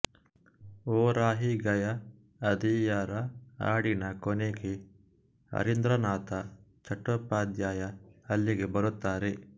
ಓ ರಾಹಿ ಗಯ ಅಂಧಿಯಾರಾ ಹಾಡಿನ ಕೊನೆಗೆ ಹರೀಂದ್ರನಾಥ ಚಟ್ಟೋಪಾಧ್ಯಾಯ ಅಲ್ಲಿಗೆ ಬರುತ್ತಾರೆ